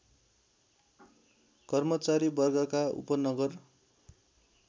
कर्मचारी वर्गका उपनगर